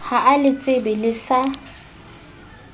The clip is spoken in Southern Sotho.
ha a letsebe le sa